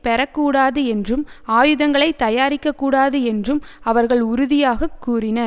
பெற கூடாது என்றும் ஆயுதங்களை தயாரிக்க கூடாது என்றும் அவர்கள் உறுதியாக கூறினர்